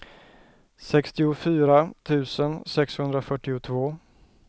sextiofyra tusen sexhundrafyrtiotvå